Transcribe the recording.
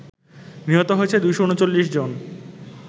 নিহত হয়েছে ২৩৯ জন